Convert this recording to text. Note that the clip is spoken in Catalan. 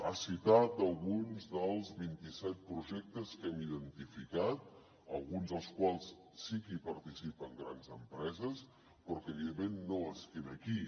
ha citat alguns dels vint i set projectes que hem identificat en alguns dels quals sí que hi participen grans empreses però que evidentment no es queda aquí